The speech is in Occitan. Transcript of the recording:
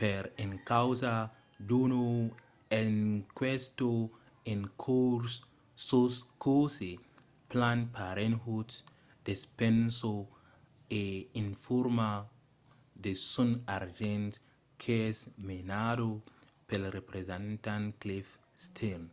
per encausa d'una enquèsta en cors sus cossí planned parenthood despensa e informa de son argent qu'es menada pel representant cliff stearns